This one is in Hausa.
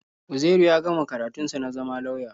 Uzairu ya gama karatun sa na zama lauya.